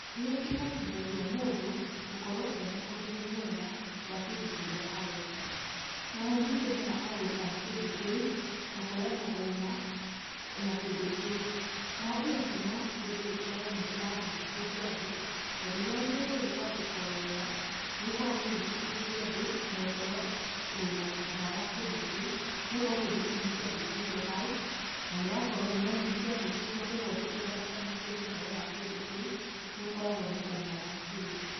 Nĩ ĩhotĩthagia mũndũ gũkorwo ena ũmenyo mwega wa kĩndũ kĩrĩa arenda oho nĩ ĩtũmaga agũri a kĩndũ kĩu gũkorwo na ũũma na kĩndũ kĩu, naho ĩgatũma kĩndũ gĩkorwo nĩ kĩragũciriria andũ tondũ rĩria kĩndũ gĩkwandĩkwo wega nĩ gĩkoragwo gĩkĩgũcirĩrĩa andũ na ĩkorwo wĩna ũũma wa kĩndũ kĩu nĩgũkorwo kĩndũ kĩu nĩkĩandĩkĩteo hau nanĩũrona nĩ kĩandĩke kogũo ona ndũtidanga ũkĩũrĩa ũhoro wa kĩndũ kĩu nĩ ũkoragwo na ũũma wa kĩndũ.